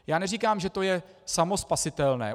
Já neříkám, že je to samospasitelné.